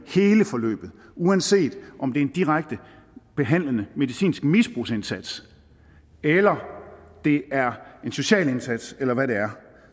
hele forløbet uanset om det er en direkte behandlende medicinsk misbrugs indsats eller det er en social indsats eller hvad det er